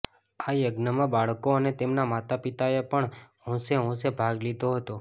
આ યજ્ઞમાં બાળકો અને તેમનાં માતા પિતાએ પણ હોંશે હોંશે ભાગ લીધો હતો